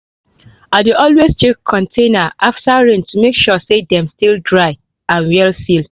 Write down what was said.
i dey always check container after rain to make sure say dem still dry and well sealed.